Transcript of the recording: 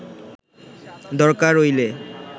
দরকার অইলে